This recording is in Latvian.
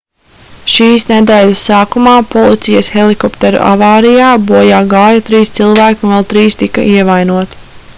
šīs nedēļas sākumā policijas helikoptera avārijā bojā gāja trīs cilvēki un vēl trīs tika ievainoti